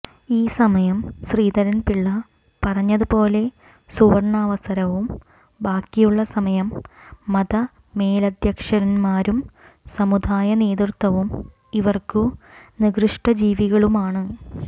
ഈ സമയം ശ്രീധരൻപിള്ള പറഞ്ഞതുപോലെ സുവർണാവസരവും ബാക്കിയുള്ള സമയം മതമേലധ്യക്ഷന്മാരും സമുദായ നേതൃത്വവും ഇവർക്ക് നികൃഷ്ടജീവികളുമാണ്